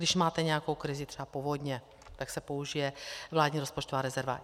Když máte nějakou krizi, třeba povodně, tak se použije vládní rozpočtová rezerva.